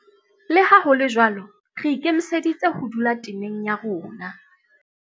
Le ha ho le jwalo, re ikemiseditse ho dula temeng ya rona.